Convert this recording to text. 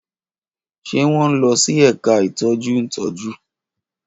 Ṣe wọn nlọ si ẹka itọju ntọju?